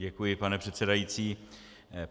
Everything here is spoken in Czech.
Děkuji, pane předsedající.